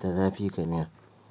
Da zafi fa miya.